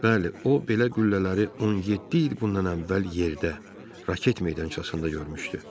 Bəli, o belə qüllələri 17 il bundan əvvəl yerdə, raket meydançasında görmüşdü.